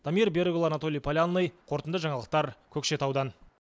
дамир берікұлы анатолий полянный қорытынды жаңалықтар көкшетаудан